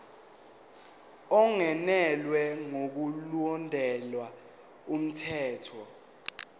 ungenelwe ngokulandela umthetho